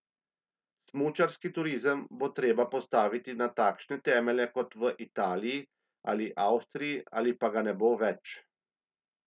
Smučarski turizem bo treba postaviti na takšne temelje kot v Italiji ali Avstriji ali pa ga ne bo več.